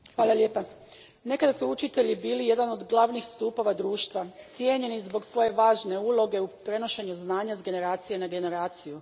Gospođo predsjednice, nekad su učitelji bili jedan od glavnih stupova društva, cijenjeni zbog svoje važne uloge u prenošenju znanja s generacije na generaciju.